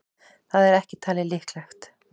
Það er ekki talið líklegt.